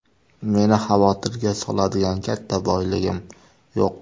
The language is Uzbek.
Meni xavotirga soladigan katta boyligim yo‘q.